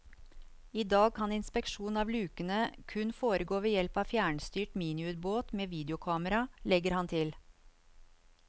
I dag kan inspeksjon av lukene kun foregå ved hjelp av fjernstyrt miniubåt med videokamera, legger han til.